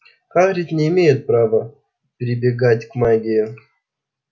хагрид не имеет права прибегать к магии